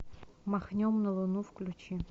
махнем на луну включи